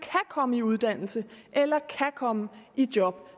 komme i uddannelse eller kan komme i job